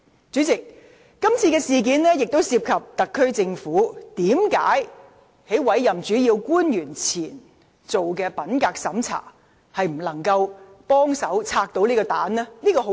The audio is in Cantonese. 主席，今次事件亦涉及一個問題：特區政府在委任主要官員前已進行品格審查，為何仍未能拆除這個炸彈？